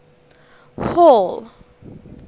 hall